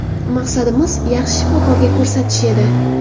Maqsadimiz yaxshi shifokorga ko‘rsatish edi.